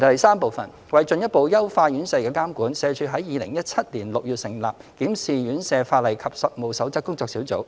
三為進一步優化院舍的監管，社署在2017年6月成立"檢視院舍法例及實務守則工作小組"。